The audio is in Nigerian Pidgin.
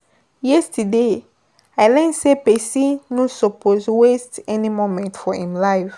Yesterday, I learn sey pesin no suppose waste any moment for im life.